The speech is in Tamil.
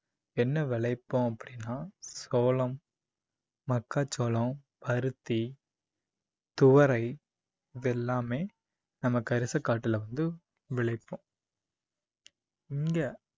என்ன விளைப்போம் அப்படின்னா சோளம், மக்காச்சோளம், பருத்தி, துவரை இது எல்லாமே நம்ம கரிசக்காட்டுல வந்து விளைப்போம இங்க